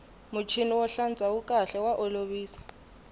muchini wo hlantswa wu kahle wa olovisa